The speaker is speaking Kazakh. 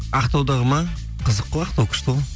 ақтаудағы ма қызық ғой ақтау күшті ғой